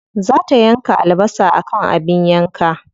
Za ta yanka albasa akan abin yanka.